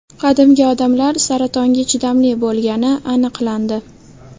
Qadimgi odamlar saratonga chidamli bo‘lgani aniqlandi.